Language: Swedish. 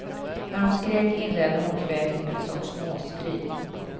När hon skrek inledde hon kväket med ett sorts måsskri.